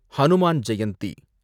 Hanuman Jayanthi